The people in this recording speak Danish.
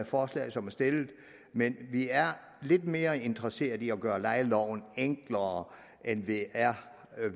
forslag som er stillet men vi er lidt mere interesserede i at gøre lejeloven enklere end vi er